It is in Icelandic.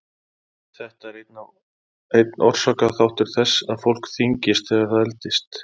Þetta er einn orsakaþáttur þess að fólk þyngist þegar það eldist.